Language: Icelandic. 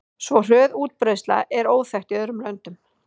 Svo hröð útbreiðsla er óþekkt í öðrum löndum.